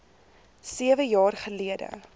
sewe jaar gelede